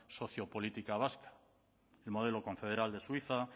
sociopolítica vasca el modelo confederal de suiza